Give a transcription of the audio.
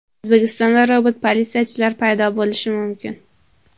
O‘zbekistonda robot-politsiyachilar paydo bo‘lishi mumkin.